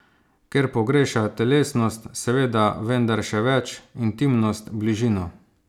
Ker pogreša telesnost, seveda, vendar še več, intimnost, bližino.